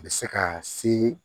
A bɛ se ka se